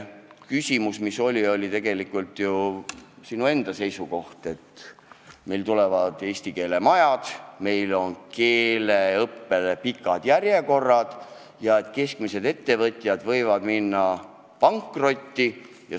Sina ise tõid esile probleemi, et meil tulevad küll eesti keele majad, aga keeleõppe järjekorrad on pikad ja keskmise suurusega ettevõtjad võivad nõuete tõttu pankrotti minna.